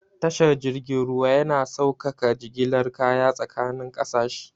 Tashar jirgin ruwa yana saukaka jigilar kaya tsakanin kasashe.